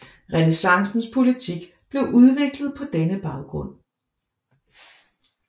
Renæssancens politik blev udviklet på denne baggrund